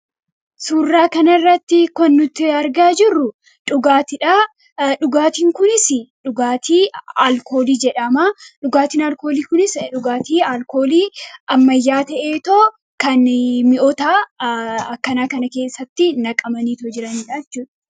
Suuraa kanarratti kan nuti argaa jirru dhugaatiidha. Dhugaatiin kunis dhugaatii alkoolii jedhama. Dhugaatiin alkoolii kunis dhugaatii ammayyaa ta'eetoo kan mi'oota akkanaa kana keessatti naqamanii jiranidha jechuudha.